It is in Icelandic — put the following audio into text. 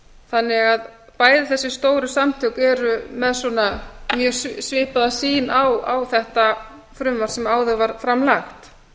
þannig að bæði þessi stóru samtök eru með mjög svipaða sýn á þetta frumvarp sem áður var fram